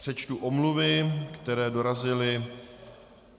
Přečtu omluvy, které dorazily.